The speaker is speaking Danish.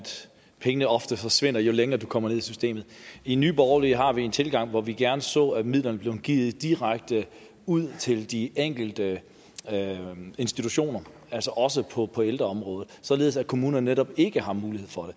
pengene ofte forsvinder jo længere du kommer ned i systemet i nye borgerlige har vi en tilgang hvor vi gerne så at midlerne blev givet direkte ud til de enkelte institutioner altså også på på ældreområdet således at kommunerne ikke har mulighed for at